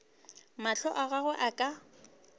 mahlo a gagwe a ka